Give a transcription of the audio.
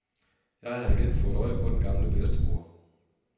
Jeg har igen fået øje på den gamle bedstemor.